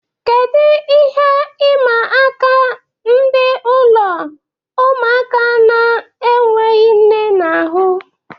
Kedu ihe ịma aka ndị ụlọ ụmụaka na-enweghị nne na-ahu?